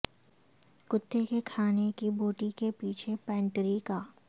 کتے کے کھانے کی بوٹی کے پیچھے پینٹیری کا